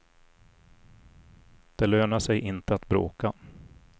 Det lönar sig inte att bråka.